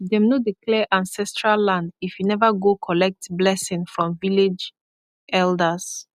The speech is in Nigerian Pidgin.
dem no dey clear ancestral land if you never go collect blessing from village elders